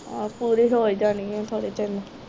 ਆਹੋ ਪੂਰੀ ਹੋ ਈ ਜਾਣੀ ਆ ਥੋੜੇ ਚਿਰ ਨੂੰ